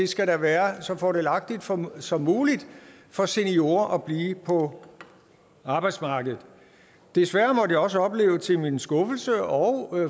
skal være så fordelagtig som som muligt for seniorer at blive på arbejdsmarkedet desværre måtte jeg også opleve til min skuffelse og